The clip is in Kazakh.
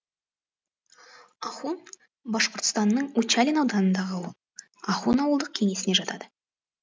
ахун башқұртстанның учалин ауданындағы ауыл ахун ауылдық кеңесіне жатады